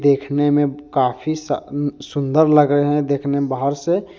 देखने में काफी सा सुंदर लगे हैं देखने बाहर से।